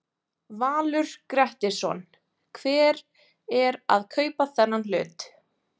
Valur Grettisson: Hver er að kaupa þennan hlut?